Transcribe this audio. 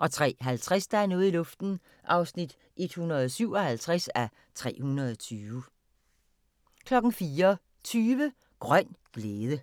03:50: Der er noget i luften (157:320) 04:20: Grøn glæde